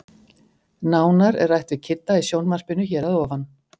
Nánar er rætt við Kidda í sjónvarpinu hér að ofan.